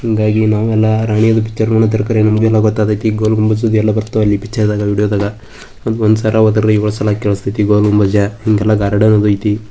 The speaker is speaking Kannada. ಹಿಂಗಾಗಿ ನಾವು ಎಲ್ಲಾ ರಾಣಿ ಅದು ಎಲ್ಲಾ ಪಿಚರ ನೋಡ್ಲಕತ್ತರ ಖರೆ ಗೊಲಗುಂಬಾಜ್ ಅದು ಎಲ್ಲಾ ಬರ್ತವ ಪಿಚರದಾಗ ಒಂದ್ ಸಲ ವಾದರಿ ವೋಳು ಸಲ ಕೇಳಿಸ್ತದ ಗೊಲಗುಂಬಾಜ್ ಹಿಂಗೆಲ್ಲಾ ಗಾರ್ಡನ್ ಹೋಗದೈತಿ.